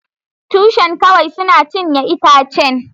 Tushen kawai suna cinye itacen.